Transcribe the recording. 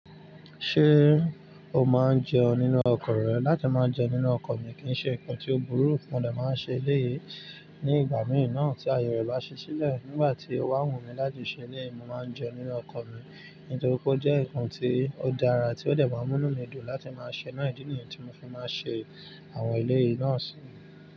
Ṣé o máa ń jẹun nínú ọkọ rẹ? Láti máa jẹun nínú ọkọ̀ mi kì ń ṣe nǹkan tí ó burú, mo dà máa ń ṣe eleyí. Ní ìgbà mìí naa tí àye rẹ̀ bá ṣí sílẹ̀, nígbà tí ó bá wù mí láti ṣe eleyi, mo máa ń jẹun nínú ọkọ mi nítorí pé ó jẹ́ ǹkan tí ó dára tí ó de máa ń mú inu mi dùn láti máa ṣe. Idi nìyen tí mo fi máa ń ṣe àwọn eleyìí náà sí.